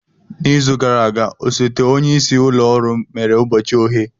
N'izu gara aga, osote onye isi ụlọ ọrụ mere ụbọchị oghe.